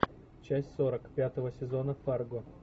часть сорок пятого сезона фарго